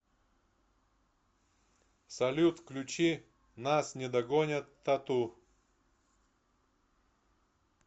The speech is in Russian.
салют включи нас не догонят тату